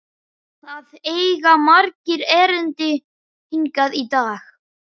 Það eiga margir erindi hingað í dag.